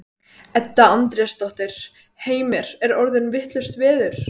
Edda Andrésdóttir: Heimir er orðið vitlaust veður?